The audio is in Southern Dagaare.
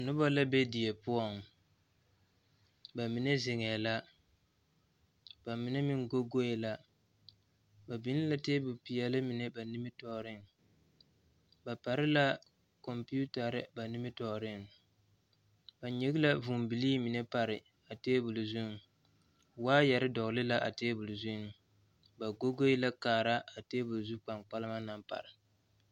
Noba la be die poɔŋ ba mine zeŋɛɛ la ba mine meŋ gogoe la ba biŋ la tabolɔ peɛle mine ba nimitɔɔreŋ ba pare la kɔmpetare ba nimitɔɔreŋ ba nyege la vūūbilii mine pare a tabol zuŋ waayɛre dɔgle la a tabol zuŋ ba gogoe la kaara a tabol zu kpankpalema naŋ pare.